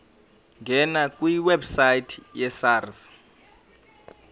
ngena kwiwebsite yesars